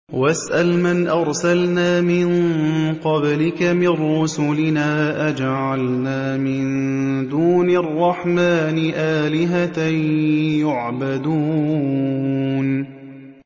وَاسْأَلْ مَنْ أَرْسَلْنَا مِن قَبْلِكَ مِن رُّسُلِنَا أَجَعَلْنَا مِن دُونِ الرَّحْمَٰنِ آلِهَةً يُعْبَدُونَ